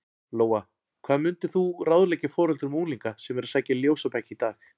Lóa: Hvað myndir þú ráðleggja foreldrum unglinga sem að sækja í ljósabekki í dag?